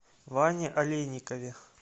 ване олейникове